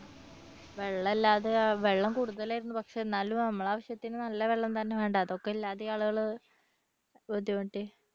വെള്ളമില്ലാതെ വെള്ളം കൂടുതൽ ആയിരുന്നു പക്ഷേ എന്നാലും നമ്മുടെ ആവശ്യത്തിന് നല്ല വെള്ളം തന്നെ വേണ്ടേ അതൊക്കെ ഇല്ലാതെ ആളുകൾ ബുദ്ധിമുട്ടി.